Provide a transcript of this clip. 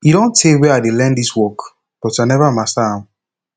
e don tey wey i dey learn dis work but i never master am